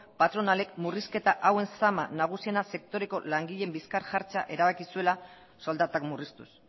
patronalek murrizketa hauen zama nagusiena sektoreko langileen bizkar jartzea erabaki zuela soldatak murriztuz